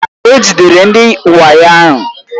E jidere ndị wayo ahụ.